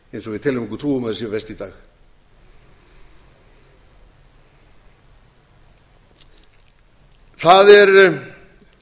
eins og við teljum okkur er um að þau séu í dag það er